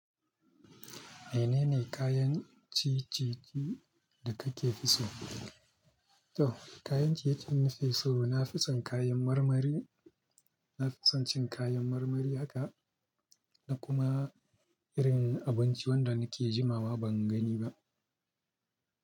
Menene kayan ciye-ciye da kake fi so? To, kayan ciye-ciyen da nake so, na fi son kayan marmari. Na fi son cin kayan marmari haka, na kuma irin abinci wanda nake jimawa ban gani ba.